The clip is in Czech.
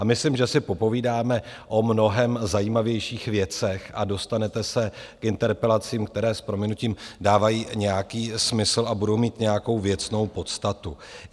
A myslím, že si popovídáme o mnohem zajímavějších věcech a dostanete se k interpelacím, které s prominutím dávají nějaký smysl a budou mít nějakou věcnou podstatu.